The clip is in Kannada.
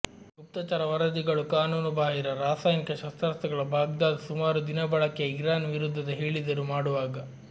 ಗುಪ್ತಚರ ವರದಿಗಳು ಕಾನೂನುಬಾಹಿರ ರಾಸಾಯನಿಕ ಶಸ್ತ್ರಾಸ್ತ್ರಗಳ ಬಾಗ್ದಾದ್ ಸುಮಾರು ದಿನ ಬಳಕೆಯ ಇರಾನ್ ವಿರುದ್ಧದ ಹೇಳಿದರು ಮಾಡುವಾಗ